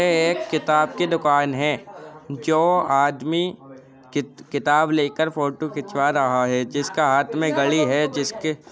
ए एक किताब की दुकान है। जो आदमी कित किताब लेकर फोटो खिंचवा रहा है जिसका हाथ में गड़ी है जिसके --